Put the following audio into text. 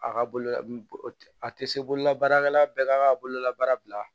A ka bolo a tɛ se bololabaarakɛla bɛɛ k'a ka bololabaara bila